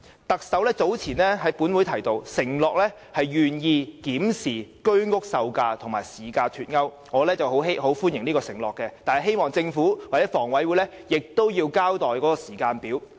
特首早前向本會承諾，願意檢視居屋售價與市價脫鈎的問題，我很歡迎這個承諾，但希望政府或香港房屋委員會可以交代時間表。